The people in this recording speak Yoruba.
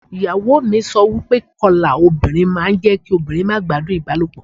Ìyàwó mi sọ wípé ìkọlà obìnrin máa ń jẹ́ kí obìnrin má gbádùn ìbálòpọ̀.